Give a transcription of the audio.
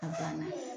A banna